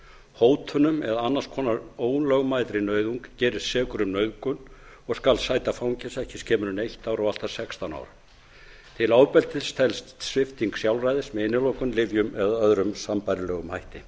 hótunum eða annars konar ólögmætri nauðung gerist sekur um nauðgun og skal sæta fangelsi ekki skemur en eitt ár og allt að sextán árum til ofbeldis telst svipting sjálfræðis með innilokun lyfjum eða öðrum sambærilegum hætti